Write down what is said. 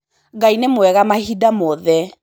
Ngai nĩ mwega mahinda mothe.